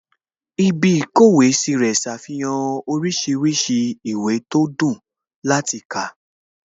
Ibí ìkówèé sí rẹ̀ ṣàfihàn oríṣiríṣi ìwé tó dùn láti kà